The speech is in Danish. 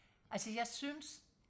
altså jeg synes